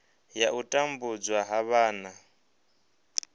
ya u tambudzwa ha vhana